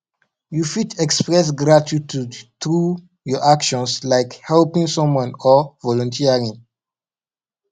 you fit express gratitude through your actions like helping someone or volunteering